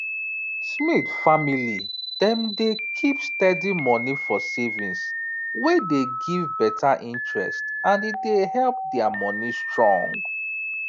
smith family dem dey keep steady moni for savings wey dey give better interest and e help their moni strong